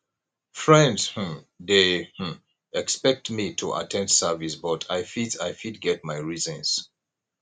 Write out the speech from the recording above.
friends um dey um expect me to at ten d service but i fit i fit get my reasons